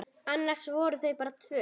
Annars voru þau bara tvö.